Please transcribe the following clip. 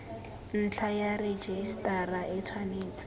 ntlha ya rejisetara e tshwanetse